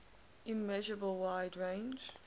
immeasurable wide range